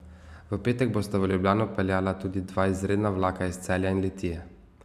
V petek bosta v Ljubljano peljala tudi dva izredna vlaka iz Celja in Litije.